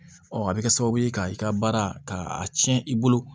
a bɛ kɛ sababu ye ka i ka baara ka a tiɲɛ i bolo